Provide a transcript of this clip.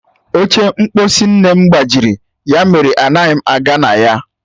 Oche mkposi nne m gbajiri, ya mere anaghị m aga na ya.